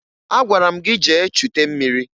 Agwara m gị jee chute mmiri!